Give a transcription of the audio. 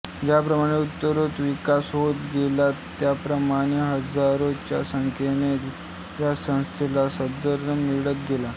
ज्याप्रमाणे उत्तरोत्तर विकास होत गेला त्याप्रमाणे हजारोच्या संख्यने या संस्थेला सदस्य मिळत गेले